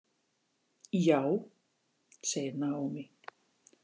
Já, segir Naomi.